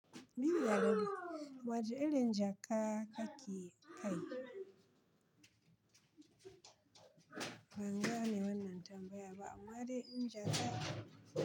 Biri alade, waɗanne inji aka kai? Ban gane wannan tambayar ba. Waɗanne inji aka.